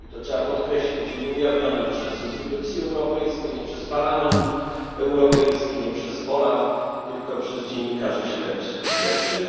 I to trzeba podkreślić, że nie ujawnione przez instytucje europejskie, nie przez Parlament Europejski, nie przez OLAF, tylko przez dziennikarzy śledczych.